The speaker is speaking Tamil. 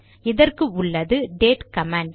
இதற்கு உள்ளது டேட் கமாண்ட்